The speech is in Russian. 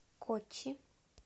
коччи